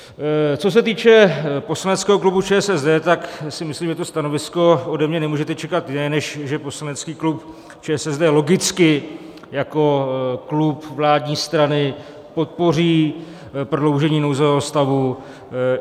Co se týče poslaneckého klubu ČSSD, tak si myslím, že to stanovisko ode mne nemůžete čekat jiné, než že poslanecký klub ČSSD logicky jako klub vládní strany podpoří prodloužení nouzového stavu.